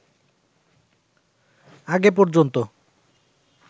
আগে পর্যন্ত